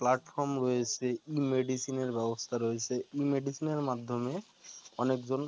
platform রয়েছে e-medicine এর ব্যবস্থা রয়েছে e-medicine মাধ্যমে অনেক জন